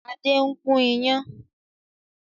Adé ń gùn iyán